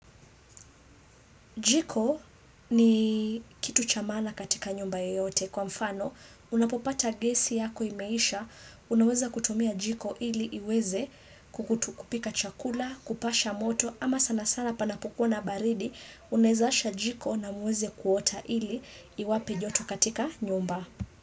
Jiko ni kitu cha maana katika nyumba yeyote. Kwa mfano, unapopata gesi yako imeisha, unaweza kutumia jiko ili iweze kukutu kupika chakula, kupasha moto, ama sana sana panapokuwa na baridi, unaeza asha jiko na muweze kuota ili iwape joto katika nyumba.